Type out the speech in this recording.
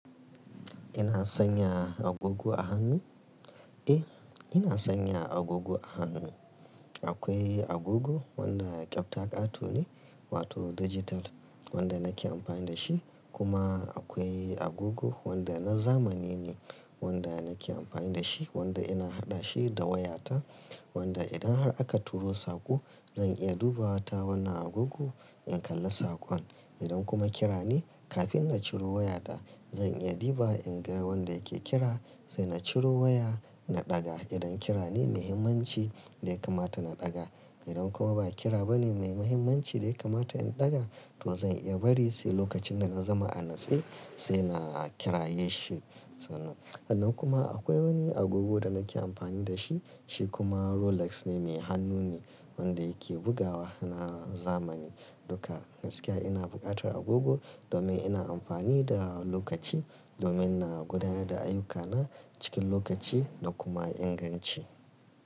Ina sanya agogo a hannu? Eh, ina sanya agogo a hannu. Akwai agogo wanda kyauta ƙato ne wato digital wanda nake amfani da shi, kuma akwai agogo wanda na zamani ne wanda nake amfani da shi wanda ina haɗa shi da wayata wanda idan har aka turo saƙo zan iya duba ta wannan agogo in kalla saƙon. Idan kuma kira ne kafin na ciro waya ta zan iya duba in ga wanda yake kira sai na ciro waya na ɗaga idan kira ne muhimmanci dai kamata na ɗaga. Idan kuma ba kira ba ne mai muhimmanci dai kamata in ɗaga to zan iya bari sai lokacin da na zama a natsai sai na kira ya shi. Sannan kuma akwai wani agogo da nake amfani da shi, shi kuma Rolex ne mai hannu ne wanda yake bugawa na zamani. Duka gaskiya ina buƙatar agogo domin ina amfani da lokaci domin na gudanar da ayyukana cikin lokaci da kuma inganci.